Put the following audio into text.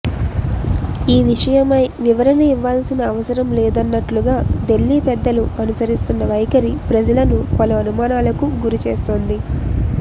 ఈ విషయమై వివరణ ఇవ్వాల్సిన అవసరం లేదన్నట్లుగా దిల్లీ పెద్దలు అనుసరిస్తున్న వైఖరి ప్రజలను పలు అనుమానాలకు గురి చేస్తోంది